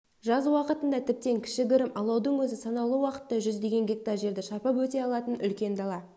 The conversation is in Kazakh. жаз уақытында тіптен кішігірім алаудың өзі санаулы уақытта жүздеген гектар жерді шарпып өте алатын үлкен дала